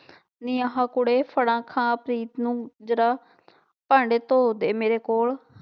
ਨੀ ਆਹ ਕੁੜੇ ਫੜਾ ਖਾ ਪ੍ਰੀਤ ਨੂੰ ਜ਼ਰਾ ਭਾਂਡੇ ਧੋ ਦੇ ਮੇਰੇ ਕੋਲ,